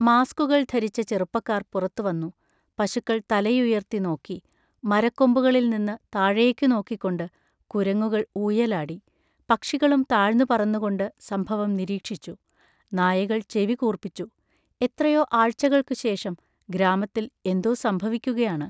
മാസ്‌കുകൾ ധരിച്ച ചെറുപ്പക്കാർ പുറത്തുവന്നു. പശുക്കൾ തലയുയർത്തിനോക്കി. മരക്കൊമ്പുകളിൽനിന്ന് താഴേക്കുനോക്കിക്കൊണ്ട് കുരങ്ങുകൾ ഊയലാടി. പക്ഷികളും താഴ്ന്നുപറന്നുകൊണ്ട് സംഭവം നിരീക്ഷിച്ചു. നായകൾ ചെവി കൂർപ്പിച്ചു. എത്രയോ ആഴ്ചകൾക്കുശേഷം ഗ്രാമത്തിൽ എന്തോ സംഭവിക്കുകയാണ്!